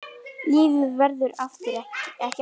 Lífið verður ekki aftur tekið.